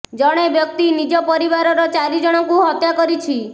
ଜଣେ ବ୍ୟକ୍ତି ନିଜ ପରିବାରର ଚାରି ଜଣଙ୍କୁ ହତ୍ୟା କରିଛି